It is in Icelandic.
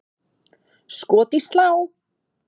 Skot í slá!